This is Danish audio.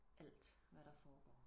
alt hvad der foregår